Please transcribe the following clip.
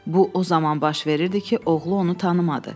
Bu o zaman baş verirdi ki, oğlu onu tanımadı.